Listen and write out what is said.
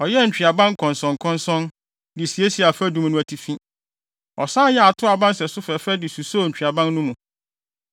Ɔyɛɛ ntweaban nkɔnsɔnkɔnsɔn, de siesiee afadum no atifi. Ɔsan yɛɛ atoaa aba nsɛso fɛfɛ de susoo ntweaban no mu.